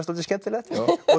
dálítið skemmtilegt